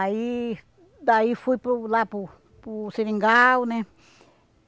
Aí daí fui para o lá para o para o seringal, né?